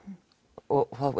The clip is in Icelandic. og